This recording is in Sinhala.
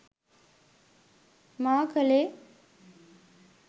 මා කළේ